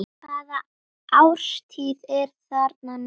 Hvaða árstíð er þarna núna?